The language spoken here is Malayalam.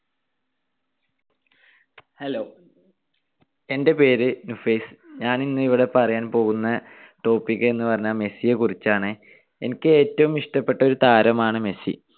Hello എൻ്റെ പേര് നുഫൈസ്. ഞാൻ ഇന്നിവിടെ പറയാൻ പോകുന്ന topic എന്നുപറഞ്ഞാൽ മെസ്സിയെ കുറിച്ചാണ്. എനിക്ക് ഏറ്റവും ഇഷ്ടപ്പെട്ട ഒരു താരമാണ് മെസ്സി.